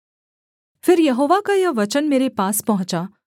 फिर यहोवा का यह वचन मेरे पास पहुँचा